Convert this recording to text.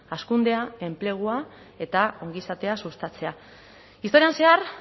hazkundea enplegua eta ongizatea sustatzea historian zehar